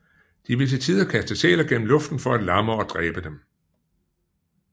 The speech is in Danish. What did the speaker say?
De vil til tider kaste sæler gennem luften for at lamme og dræbe dem